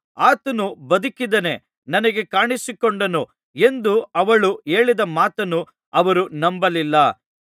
ಆತನು ಬದುಕಿದ್ದಾನೆ ನನಗೆ ಕಾಣಿಸಿಕೊಂಡನು ಎಂದು ಅವಳು ಹೇಳಿದ ಮಾತನ್ನು ಅವರು ನಂಬಲಿಲ್ಲ